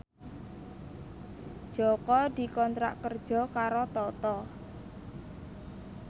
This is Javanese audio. Jaka dikontrak kerja karo Toto